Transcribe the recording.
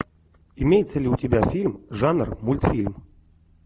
имеется ли у тебя фильм жанр мультфильм